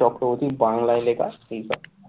চক্রবর্তী বাংলায় লেখা এই দেখ?